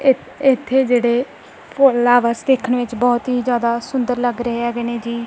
ਇਥੇ ਜਿਹੜੇ ਫੁੱਲਾਂ ਆ ਬਸ ਦੇਖਣ ਵਿੱਚ ਬਹੁਤ ਹੀ ਜਿਆਦਾ ਸੁੰਦਰ ਲੱਗ ਰਹੇ ਹੈਗੇ ਨੇ ਜੀ।